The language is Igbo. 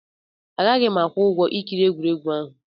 Agaghị m akwụ ụgwọ ikiri egwuregwu ahụ.